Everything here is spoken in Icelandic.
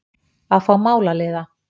Að fá málaliða!